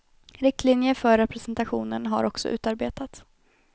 Riktlinjer för representationen har också utarbetats.